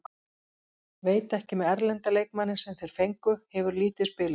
Veit ekki með erlenda leikmanninn sem þeir fengu, hefur lítið spilað.